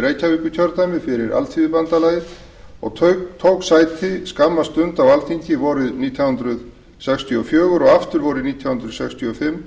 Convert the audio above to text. reykjavíkurkjördæmi fyrir alþýðubandalagið og tók sæti skamma stund á alþingi vorið nítján hundruð sextíu og fjögur og aftur vorið nítján hundruð sextíu og fimm